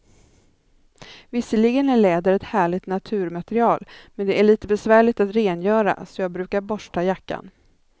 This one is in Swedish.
Visserligen är läder ett härligt naturmaterial, men det är lite besvärligt att rengöra, så jag brukar borsta jackan.